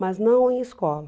Mas não em escola.